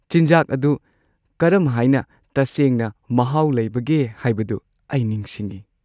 ꯆꯤꯟꯖꯥꯛ ꯑꯗꯨ ꯀꯔꯝꯍꯥꯏꯅ ꯇꯁꯦꯡꯅ ꯃꯍꯥꯎ ꯂꯩꯕꯒꯦ ꯍꯥꯏꯕꯗꯨ ꯑꯩ ꯅꯤꯡꯁꯤꯡꯏ꯫